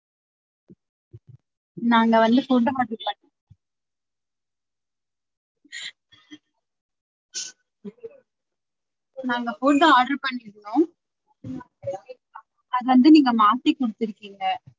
நாங்க வந்து food order பண்ணி~ நாங்க food order பண்ணிருந்தோம் அத வந்து நீங்க மாத்தி குடுத்துருக்கிங்க.